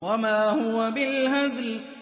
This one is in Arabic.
وَمَا هُوَ بِالْهَزْلِ